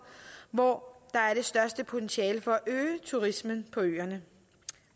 hvor der er det største potentiale for at øge turismen på øerne